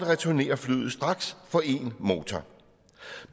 returnere flyet straks på én motor